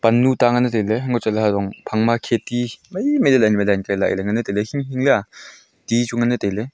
Pannu ta nganle taile hama chatle hajong phangma kheti mai wai mai le line wai line ele ngan le taile hing hing lea ti chu ngan le taile.